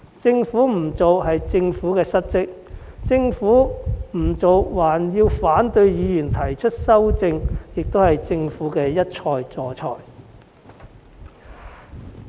政府不做是失職，而政府不做還要反對議員提出修正案更是一錯再錯。